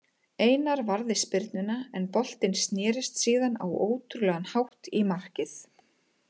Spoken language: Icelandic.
Einar varði spyrnuna en boltinn snérist síðan á ótrúlegan hátt í markið.